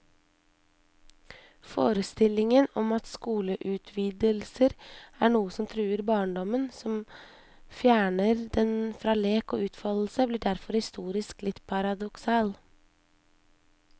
Forestillingen om at skoleutvidelser er noe som truer barndommen, som fjerner den fra lek og utfoldelse, blir derfor historisk litt paradoksal.